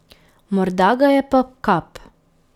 Morda ga je pa kap.